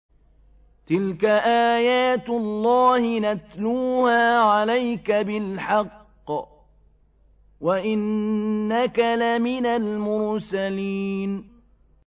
تِلْكَ آيَاتُ اللَّهِ نَتْلُوهَا عَلَيْكَ بِالْحَقِّ ۚ وَإِنَّكَ لَمِنَ الْمُرْسَلِينَ